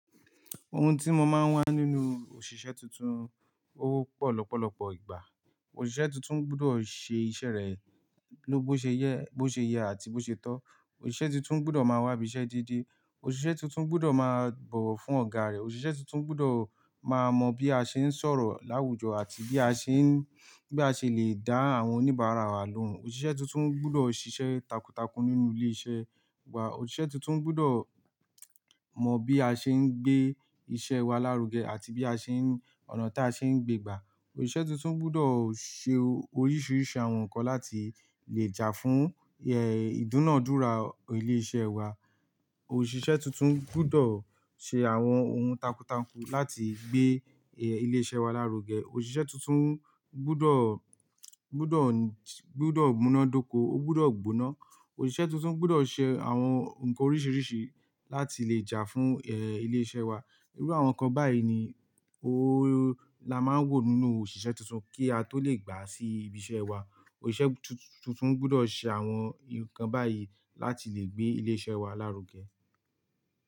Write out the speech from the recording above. Ohun tí mo máa ń wá nínú òṣìṣẹ́ tuntun, ó wọ́pọ̀ lọ́pọ̀lọpọ̀ ìgbà. Òṣìṣẹ́ tuntun gbọdọ̀ ṣe iṣẹ́ rẹ̀ ló bó ṣe jẹ, bó ṣe yẹ àti bó ṣe tọ́. Òṣìṣẹ́ tintun gbọdọ̀ máa wá ibi iṣẹ́ deede. Òṣìṣẹ́ tuntun gbọdọ̀ máa bọ̀wọ̀ fún ọ̀gá rẹ̀. Òṣìṣẹ́ tuntun gbọdọ̀ máa mọ bí a ṣe ń sọ̀rọ̀ láwùjọ àti bí a ṣe ń, bí a ṣe lè dá àwọn oníbàárà wa lóhùn. Òṣìṣẹ́ tuntun gbọdọ̀ ṣiṣẹ́ takuntakun nínú ilé iṣẹ́ wa Òṣìṣẹ́ tuntun gbọdọ̀ mọ bí a ṣe ń gbé iṣẹ́ wa lárugẹ àti bí a ṣe ń, ọ̀nà tí a ṣe ń gbé gbà. Òṣìṣẹ́ tuntun gbọdọ̀ ṣe oríṣiríṣi àwọn nǹkan láti lè jà fún, ìdúnàádúrà ilé iṣẹ́ wa. Òṣìṣẹ́ tuntun gbọdọ̀ ṣe àwọn ohun takuntakun láti gbé, eh, ilé iṣẹ́ wa lárugẹ. Òṣìṣẹ́ tuntun gbọdọ̀, gbọdọ̀, gbọdọ̀ múná dóko, ó gbọdọ̀ gbóná. Òṣìṣẹ́ tuntun gbọdọ̀ ṣe àwọn nǹkan oríṣiríṣi láti lè jà fún, eh, ilé iṣẹ́ wa. Irú àwọn nǹkan báyìí ni la máa ń wò nínú òṣìṣẹ́ tuntun kí a tó lè gbà sí ibi iṣẹ́ wa. Òṣìṣẹ́ tuntun gbọdọ̀ ṣe àwọn nǹkan báyìí láti lè gbé ilé iṣẹ́ wa lárugẹ.